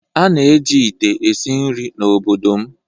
a na-eji ite esi nri n'obodo m